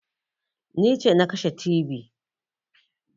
Ni ce na kashe tibi